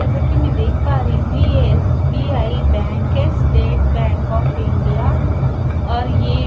जैसे कि मैं देख पा रही हूँ ये एस.बी.आई. बैंक है स्‍टेट बैंक ऑफ इंडिया और ये --